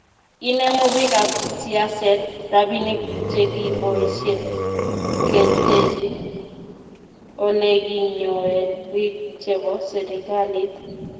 inemu bikap siaset robinik chegiboishe keteche oleginyoen biik chebo serikalit